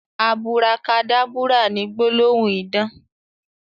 Aburakadábúrà ni gbólóhùn idán